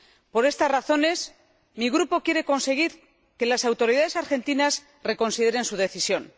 Por estas razones, mi Grupo quiere conseguir que las autoridades argentinas reconsideren su decisión.